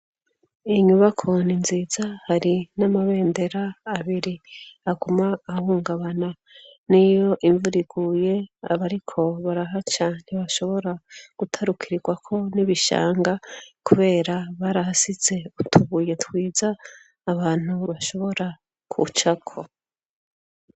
Inyubakoni nziza hari n'amabendera abiri aguma ahungabana n'i yo imvura iguye abariko baraha cane bashobora gutarukirirwako n'ibishanga, kubera barahasize utubuye twiza abantu bashobora kucako.